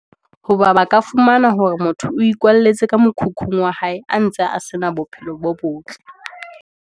Ho ba ba ka fumana hore motho o ikwalletse ka mokhukhung wa hae, a ntse a se na bophelo bo botle.